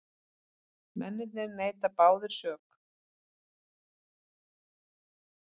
Mennirnir neita báðir sök